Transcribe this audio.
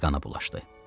Əli qana bulaşdı.